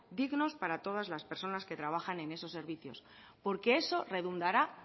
dignas para todas las personas que trabajan en esos servicio porque eso redundará